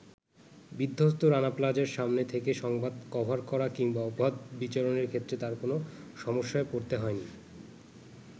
বিধ্বস্ত রানা প্লাজার সামনে থেকে সংবাদ কভার করা কিংবা অবাধ বিচরনের ক্ষেত্রে তার কোন সমস্যায় পড়তে হয়নি।